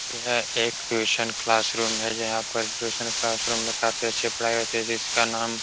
यह एक tuition classroom है। जहाँ पर ट्यूशन क्लासरूम में काफी अच्छी पढ़ाई होती है। जिसका नाम --